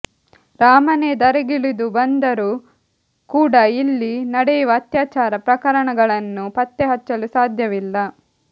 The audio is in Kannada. ರಾಮನೇ ಧರೆಗೆ ಇಳಿದು ಬಂದರೂ ಕೂಡ ಇಲ್ಲಿ ನಡೆಯುವ ಅತ್ಯಾಚಾರ ಪ್ರಕರಣಗಳನ್ನು ಪತ್ತೆ ಹಚ್ಚಲು ಸಾಧ್ಯವಿಲ್ಲ